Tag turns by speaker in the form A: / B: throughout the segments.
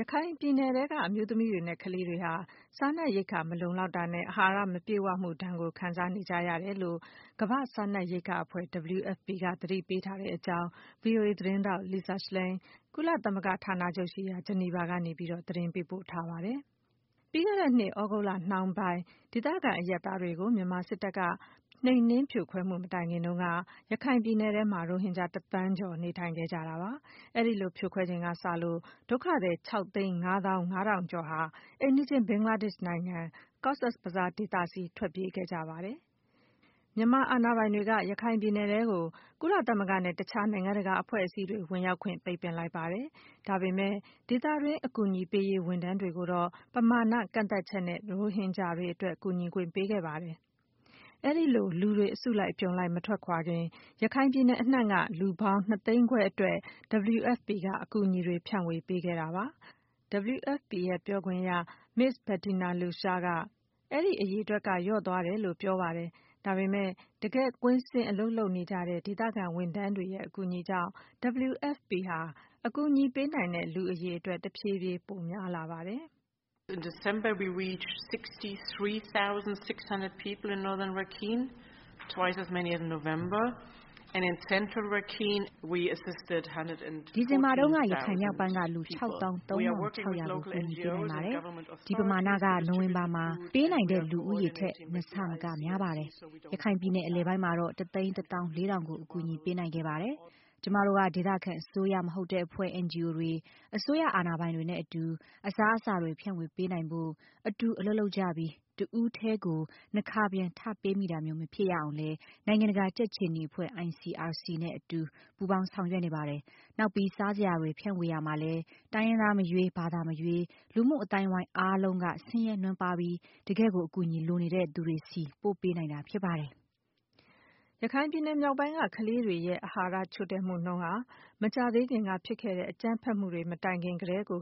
A: ရခိုင်ပြည်နယ်က အမျိုးသမီးတွေနဲ့ကလေးတွေဟာ စားနပ်ရိက္ခာမလုံလောက်မှုနဲ့ အာဟာရ မပြည့်ဝမှုဒဏ်ကို အပြင်းအထန်ခံစားနေကြရ ကြောင်း ကမ္ဘာ့စားနပ် ရိက္ခာအဖွဲ့ WFP က သတိပေးထားတဲ့အကြောင်း ဗွီအိုအေသတင်းထောက် Lisa Schlein က ကုလရုံးချုပ်ရှိရာ ဂျနီဗာကနေ သတင်းပေးပို့ထားတာကို မခွာညိုက ပြောပြပါမယ်။ ပြီးခဲ့တဲ့နှစ် သြဂုတ်လနှောင်းပိုင်း ဒေသခံအရပ်သားတွေကို မြန်မာစစ်တပ်က နှိမ်နင်းဖြိုခွဲမှုမတိုင်ခင်တုန်းက ရခိုင်ပြည် နယ်ထဲမှာ ရိုဟင်ဂျာ ၁ သန်းကျော် နေထိုင်ခဲ့ကြတာပါ။ အဲဒီလို ဖြိုခွဲချိန်ကစလို့ ဒုက္ခသည် ၆ သိန်း၊ ၅ သောင်း၊ ၅ ထောင်ကျော်ဟာ အိမ်နီး ချင်း ဘင်္ဂလားဒေ့ရှ်နိုင်ငံ Cox’s Bazar ဒေသဆီ ထွက်ပြေးခဲ့ကြပါတယ်။ မြန်မာအာဏာပိုင်တွေက ရခိုင်ပြည်နယ်ထဲကို ကုလသမဂ္ဂနဲ့ တခြား နိုင်ငံတကာအဖွဲ့အစည်းတွေဝင်ရောက်ခွင့် ပိတ်ပင်လိုက်ပါတယ်။ ဒါပေမယ့် ဒေသတွင်း အကူအညီပေးရေးဝန်ထမ်းတွေကိုတော့ ပမာဏ ကန့်သတ်ချက်နဲ့ ရိုဟင်ဂျာတွေအတွက် ကူညီခွင့်ပေးခဲ့ပါတယ်။ အဲဒီလို လူတွေ အစုလိုက်အပြုံလိုက်မထွက်ခွာခင် ရခိုင်ပြည်နယ်အနှံ့က လူပေါင်း ၂ သိန်းခွဲအတွက် WFP က အကူအညီတွေ ဖြန့်ဝေပေးခဲ့ တာပါ။ WFP ရဲ့ ပြောခွင့်ရ မစ္စ် Bettina Luescher က အဲဒီအရေအတွက်က လျော့ကျသွားကြောင်းပြောပါတယ်။ ဒါပေမယ့် တကယ် ကွင်းဆင်း အလုပ်လုပ်နေကြတဲ့ ဒေသခံဝန်ထမ်းတွေရဲ့အကူအညီကြောင့် WFP ဟာ အကူအညီပေးနိုင်တဲ့လူအရေအတွက် တဖြည်းဖြည်း ပိုများလာပါတယ်။ “ဒီဇင်ဘာတုန်းက ရခိုင်မြောက်
B: ပိုင်းက လူ ၆၃,၆၀၀ ကို ကူညီပေးနိုင်ပါတယ်။ ဒီပမာဏက နိုဝင်ဘာမှာ ပေးနိုင်တဲ့လူဦးရေ ထက် ၂ ဆ မက များပါတယ်။ ရခိုင်ပြည်နယ်အလယ်ပိုင်းမှာတော့ ၁၁၄,၀၀၀ ကို အကူအညီပေးနိုင်ခဲ့ပါတယ်။ ကျမတို့ က ဒေသခံ အစိုးရမဟုတ်တဲ့အဖွဲ့ NGOs တွေ၊ အစိုးရအာဏာပိုင်တွေနဲ့အတူ အစားအစာတွေဖြန့်ဝေပေးနိုင်ဖို့ အတူ အလုပ်လုပ်ကြပြီး တဦးတည်း ကို နှစ်ခါပြန်ထပ်ပေးမိတာမျိုးမဖြစ်ရအောင်လည်း နိုင်ငံတကာ ကြက်ခြေနီအဖွဲ့ ICRC နဲ့အတူပူးပေါင်းဆောင်ရွက်နေပါတယ်။ နောက်ပြီး စားစရာတွေ ဖြန့်ဝေရာမှာလည်း တိုင်းရင်းသားမရွေး၊ ဘာသာမရွေး လူမှုအသိုင်းအဝိုင်းအားလုံးက ဆင်းရဲနွမ်းပါးပြီး တကယ့်ကို အကူအညီလိုနေတဲ့သူတွေဆီ ပို့ပေးနေတာဖြစ်ပါတယ်။”
A: ရခိုင်ပြည်နယ်မြောက်ပိုင်းက ကလေးတွေရဲ့ အာဟာရချို့တဲ့မှုနှုန်းဟာ မကြာသေးခင်က ဖြစ်ခဲ့တဲ့ အကြမ်းဖက်မှုတွေမတိုင်ခင်ကတည်းက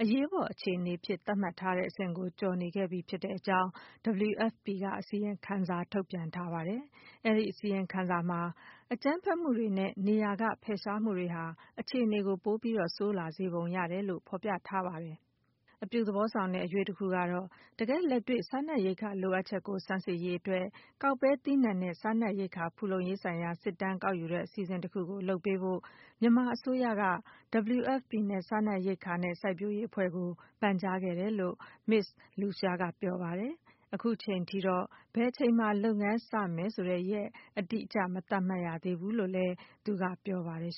A: အရေးပေါ်အခြေအနေအဖြစ် သတ်မှတ်ထားတဲ့အဆင့်ကို ကျော်နေခဲ့ပြီးဖြစ်ကြောင်း WFP က အစီရင်ခံစာထုတ်ပြန်ထားပါတယ်။ အဲဒီ အစီရင်ခံစာမှာ အကြမ်းဖက်မှုတွေနဲ့ နေရာက ဖယ်ရှားမှုတွေဟာ အခြေအနေကို ပိုပြီးဆိုးလာစေပုံရကြောင်း ဖော်ပြထားပါတယ်။ အပြုသဘော ဆောင်တဲ့ အရွေ့တခုကတော့ တကယ့်လက်တွေ့ စားနပ်ရိက္ခာလိုအပ်ချက်ကို ဆန်းစစ်ရေးအတွက် ကောက်ပဲသီးနှံနဲ့ စားနပ်ရိက္ခာ ဖူလုံရေးဆိုင်ရာ စစ်တမ်းကောက်ယူတဲ့အစီအစဉ်တခုကို လုပ်ပေးဖို့ မြန်မာအစိုးရက WFP နဲ့ စားနပ်ရိက္ခာနဲ့ စိုက်ပျိုးရေးအဖွဲ့ကို ပန်ကြားထားတဲ့တယ်လို့ မစ္စ် Bettina Luescher က ပြောပါတယ်။ အခုထိတော့ ဘယ်အချိန်မှာ လုပ်ငန်းစမယ်ဆိုတဲ့ ရက်အတိအကျတော့ မသတ်မှတ်ရသေးဘူးလို့ Ms. Luescher က ပြောပါတယ်